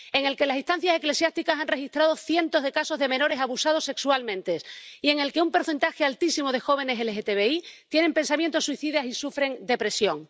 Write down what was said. en el que las instancias eclesiásticas han registrado cientos de casos de menores abusados sexualmente y en el que un porcentaje altísimo de jóvenes LGTBI tienen pensamientos suicidas y sufren depresión.